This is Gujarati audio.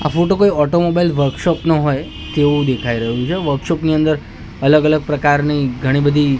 આ ફોટો કોઈ ઓટોમોબાઇલ વર્કશોપ નો હોય તેવું દેખાઈ રહ્યું છે વર્કશોપ ની અંદર અલગ અલગ પ્રકારની ઘણી બધી--